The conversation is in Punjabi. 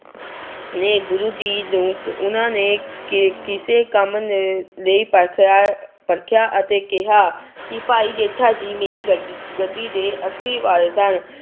ਨੇ ਗੁਰੂ ਜੀ ਨੂੰ ਉਹਨਾਂ ਨੇ ਕਿ ਕਿਸੇ ਕੰਮ ਨ ਲਈ ਪਰਖਿਆ ਪਰਖਿਆ ਅਤੇ ਕਿਹਾ ਕਿ ਭਾਈ ਜੇਠਾ ਜੀ ਮੇਰੀ ਗ ਗੱਦੀ ਦੇ ਅਸਲੀ ਵਾਰਿਸ਼ ਹਨ।